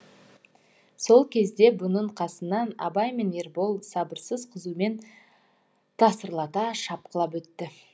сол кезде бұның қасынан абай мен ербол сабырсыз қызумен тасырлата шапқылап өтті